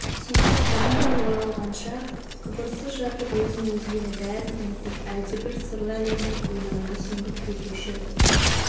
сөйтіп ванда оралғанша қыбырсыз жатып өзін өзгені бәрін ұмытып әлдебір сырлы әлемнің қойнауына сүңгіп кетуші